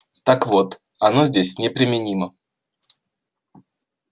так вот оно здесь неприменимо